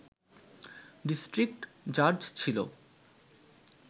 district জাজ ছিল